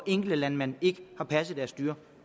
enkelte landmænd ikke har passet deres dyr